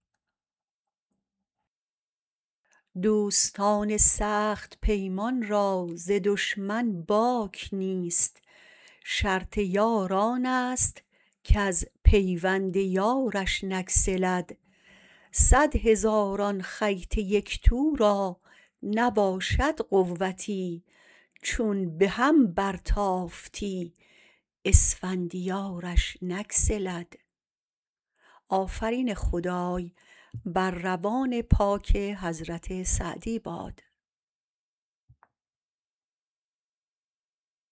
دوستان سخت پیمان را ز دشمن باک نیست شرط یار آنست کز پیوند یارش نگسلد صد هزاران خیط یکتو را نباشد قوتی چون به هم برتافتی اسفندیارش نگسلد